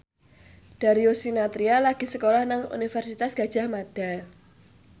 Darius Sinathrya lagi sekolah nang Universitas Gadjah Mada